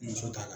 Muso ta la